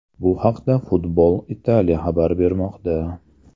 Bu haqda Football Italia xabar bermoqda .